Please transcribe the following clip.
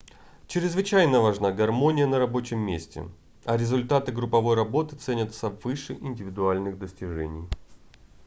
чрезвычайно важна гармония на рабочем месте а результаты групповой работы ценятся выше индивидуальных достижений